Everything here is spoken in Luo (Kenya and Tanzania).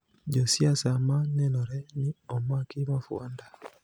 jo siasa ma nenore ni omaki mafuanda